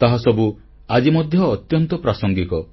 ତାହାସବୁ ଆଜି ମଧ୍ୟ ଅତ୍ୟନ୍ତ ପ୍ରାସଙ୍ଗିକ